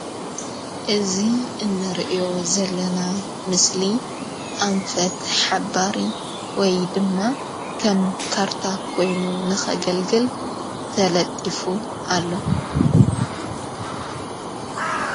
እዙ እነርእዮ ዘለና ምስሊ ኣንፈት ሓባሪ ወይ ድማ ኸም ካርታ ኮይኑ ንኸገልግል ተለጢፉ ኣሎ።